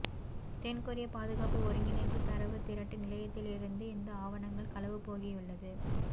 தென்கொரிய பாதுகாப்பு ஒருங்கிணைப்பு தரவு திரட்டு நிலையத்திலிருந்து இந்த ஆவணங்கள் களவுபோயுள்ளது